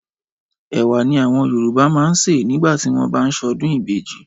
Ẹ̀wà ni àwọn Yorùbá máa ń sè nígbà tí wọ́n bá ń ṣọdún ìbejì